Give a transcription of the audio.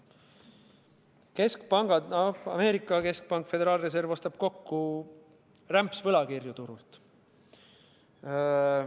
Keskpangad, sh Ameerika keskpank, föderaalreserv, ostab turult kokku rämpsvõlakirju.